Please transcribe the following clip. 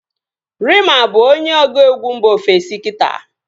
Reema bụ onye ọgụegwu mba ofesi kita